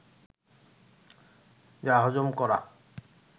যা হজম করা